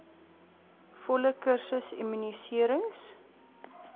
volle kursus immuniserings